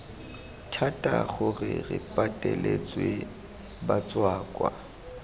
thata gore re pateletse batswakwa